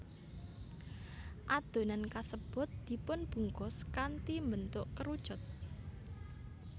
Adonan kasebut dipunbungkus kanthi mbentuk kerucut